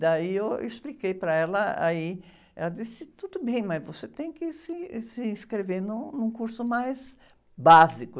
Daí eu expliquei para ela, aí, ela disse, tudo bem, mas você tem que se, ãh, se inscrever num, num curso mais básico.